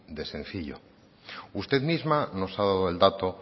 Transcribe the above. de sencillo usted misma nos ha dado el dato